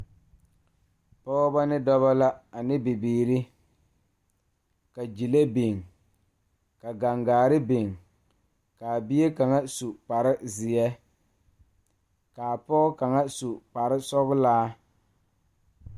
Dɔɔba ne Pɔgeba ane bibiiri la kaa pɔge nyoŋ dɔɔ nu ka katawiɛ Kyaara ka dɔɔ a su dagakparo ka pɔge a gyere wagye a le kodo kaa dɔɔba a gyere wagyere.